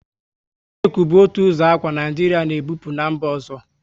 Sịlku bu otu ụzọ akwa, Naijiria na e bupu n'mba ọzọ